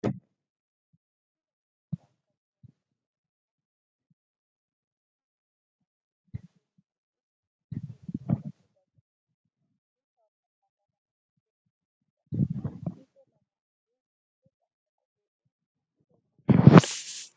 Sibilaa wantoota akka biloonii konkolaataa, biskileetii fii k.k.f ittiin hiikuu fii ittiin hidhuuf kan tajaajiluudha. Meeshaa walfakkaataa lamatu iddoo tokkotii mul'ata. Fiixee lamaaninuu boca akka qubee 'U' ta'e kan qabuudha.